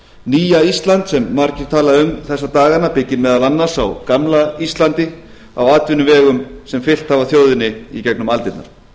nýja ísland sem margir tala um þessa dagana byggir meðal annars á gamla íslandi á atvinnuvegum sem fylgt hafa þjóðinni í gegnum aldirnar